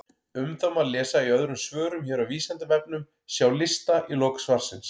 Um það má lesa í öðrum svörum hér á Vísindavefnum, sjá lista í lok svarsins.